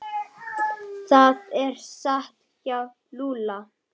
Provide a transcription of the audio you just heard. Það er satt hjá Lúlla.